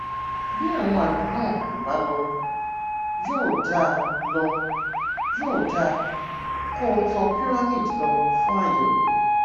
bí àwọn àmì náà ò bá lọ yóò dáa lọ yóò dáa kó o tọ pyramid lọ fún àyẹwò